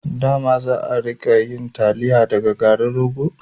Dama za'a rika yin taliya daga garin rogo